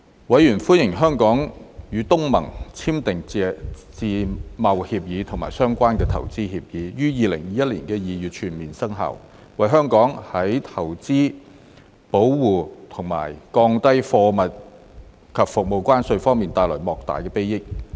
委員歡迎香港與東盟簽訂的自由貿易協定及相關的投資協定於2021年2月全面生效，為香港在投資保護和降低貨物及服務關稅方面帶來莫大裨益。